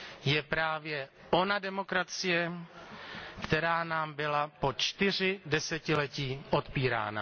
je právě ona demokracie, která nám byla po čtyři desetiletí odpírána.